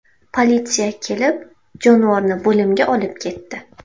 Politsiya kelib, jonivorni bo‘limga olib ketdi.